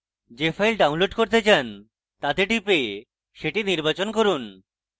যে files download করতে চান তাতে টিপে সেটি নির্বাচন করুন